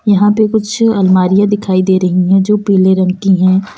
यहां पे कुछ अलमारियां दिखाई दे रही है जो पीले रंग की हैं।